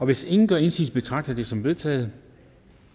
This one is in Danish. hvis ingen gør indsigelse betragter jeg det som vedtaget